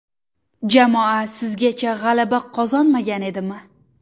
Jamoa sizgacha g‘alaba qozonmagan edimi?